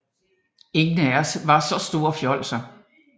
Ingen af os var så store fjolser